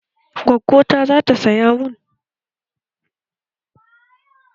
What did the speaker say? Gwaggo ta zata saya mun